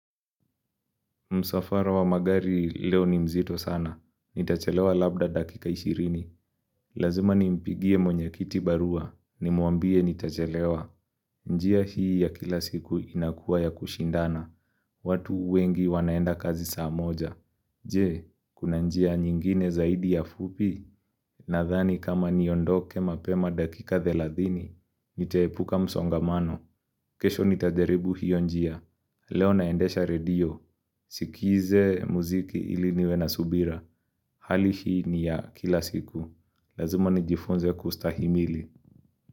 Msafara wa magari leo ni mzito sana. Nitachelewa labda dakika ishirini. Lazima nimpigie mwenye kiti barua. Nimwambie nitachelewa. Njia hii ya kila siku inakua ya kushindana. Watu wengi wanaenda kazi saa moja. Je, kuna njia nyingine zaidi ya fupi? Nathani kama niondoke mapema dakika theladhini. Nitaepuka msongamano. Kesho nitajaribu hiyo njia. Leo naendesha redio. Sikize muziki ili niwe na subira, hali hii ni ya kila siku, lazima nijifunze kustahimili.